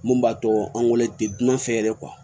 Mun b'a to an wololen tɛ dunan fɛ yɛrɛ